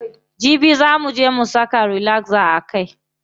Jibi zaa muje mu saka relaxer a kai.